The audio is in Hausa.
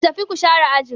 Ku tafi ku share ajin.